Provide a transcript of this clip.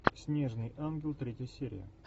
снежный ангел третья серия